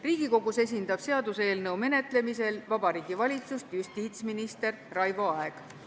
Riigikogus esindab seaduseelnõu menetlemisel Vabariigi Valitsust justiitsminister Raivo Aeg.